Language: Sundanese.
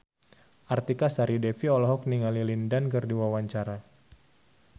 Artika Sari Devi olohok ningali Lin Dan keur diwawancara